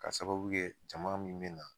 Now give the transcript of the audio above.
Ka sababu kɛ jama min mina